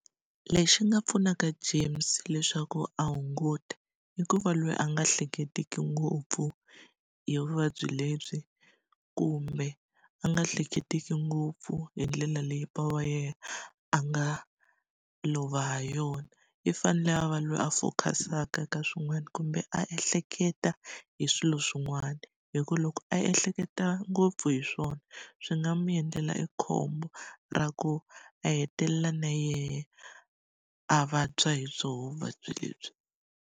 Lexi nga pfunaka James leswaku a hunguta, i ku va loyi a nga hleketiki ngopfu hi vuvabyi lebyi kumbe a nga hleketiki ngopfu hi ndlela leyi bava wa yena a nga lova ha yona. I fanele a va loyi a focus-aka ka swin'wana kumbe a ehleketa hi swilo swin'wana. Hikuva loko a ehleketa ngopfu hi swona, swi nga n'wi endlela i khombo ra ku a hetelela na yena a vabya hi byo vuvabyi lebyi.